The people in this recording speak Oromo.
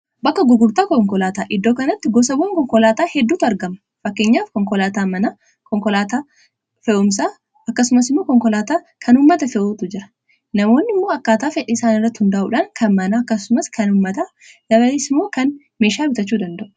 Bakka gugurtaa konkolaataa iddoo kanatti gosawwan konkolaataa hedduutu argama fakkeenyaaf konkolaataa manaa, konkolaataa fe'umsaa akkasumas immoo konkolaataa kan ummata fe'utu jira. Namoonni immoo akkaataa fedhi isaan irratti hundaa'uudhaan kan manaa akkasumas, kan ummataa dabalees immoo kan meeshaa bitachuu danda'u.